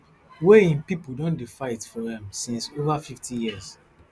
wey im pipo don dey fight for um since over fifty years